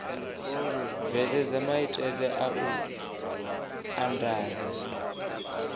bveledza maitele a u andadza